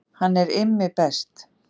Hann er Immi best.